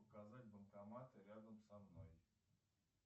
показать банкоматы рядом со мной